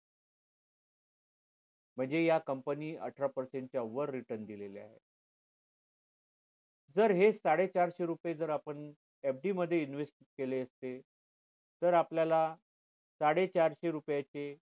म्हणजे ह्या company अठरा percent च्या वर return दिलेल्या आहेत जर हे साडे चारशे रुपये जर आपण FD मध्ये invest केले असते तर आपल्याला साडे चारशे रुपये चे